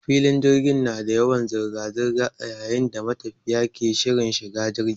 Filin jirgi na da yawan zirga zirga a yayin da matafiya ke shirin shiga jigi.